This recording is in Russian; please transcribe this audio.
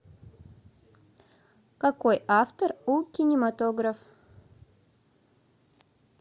какой автор у кинематограф